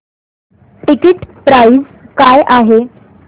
ticket price काय आहे